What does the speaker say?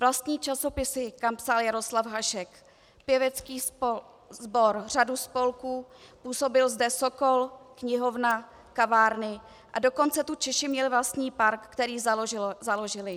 Vlastní časopisy, kam psal Jaroslav Hašek, pěvecký sbor, řadu spolků, působil zde Sokol, knihovna, kavárny, a dokonce tu Češi měli vlastní park, který založili.